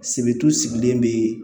Sebetu sigilen be